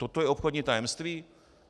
Toto je obchodní tajemství?